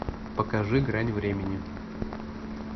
покажи грань времени